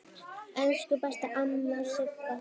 Elsku besta amma Sigga.